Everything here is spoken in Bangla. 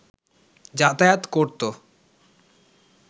যাতায়াত করত